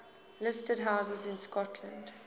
listed houses in scotland